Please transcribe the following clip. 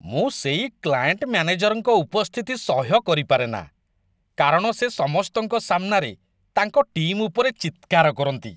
ମୁଁ ସେଇ କ୍ଲାଏଣ୍ଟ ମ୍ୟାନେଜରଙ୍କ ଉପସ୍ଥିତି ସହ୍ୟ କରିପାରେନା କାରଣ ସେ ସମସ୍ତଙ୍କ ସାମ୍ନାରେ ତାଙ୍କ ଟିମ୍ ଉପରେ ଚିତ୍କାର କରନ୍ତି।